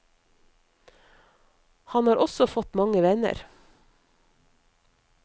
Han har også fått mange venner.